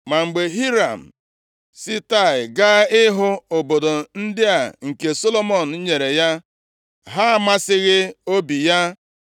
Ma mgbe Hiram si Taịa gaa ịhụ obodo ndị a nke Solomọn nyere ya, ha amasịghị obi ya.